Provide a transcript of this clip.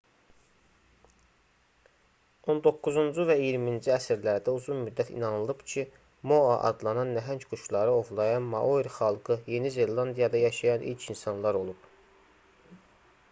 on doqquzuncu və iyirminci əsrlərdə uzun müddət inanılıb ki moa adlanan nəhəng quşları ovlayan maori xalqı yeni zelandiyada yaşayan ilk insanlar olub